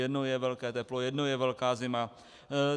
Jednou je velké teplo, jednou je velká zima.